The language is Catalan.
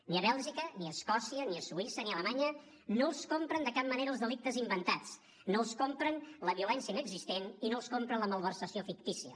ni a bèlgica ni a escòcia ni a suïssa ni a alemanya no els compren de cap manera els delictes inventats no els compren la violència inexistent i no els compren la malversació fictícia